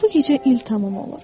Bu gecə il tamam olur.